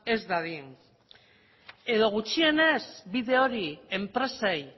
ez dadin edo gutxienez bide hori enpresei